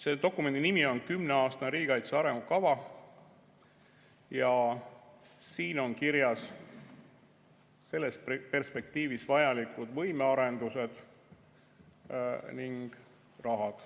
Selle dokumendi nimi on "Kümneaastane riigikaitse arengukava" ning siin on kirjas selles perspektiivis vajalikud võimearendused ja rahad.